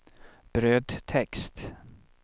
brödtext